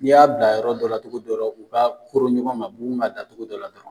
Ni y'a bila yɔrɔ dɔ la cogo dɔ la u ka koron ɲɔgɔn ma bugun ka da cogo dɔ la dɔrɔn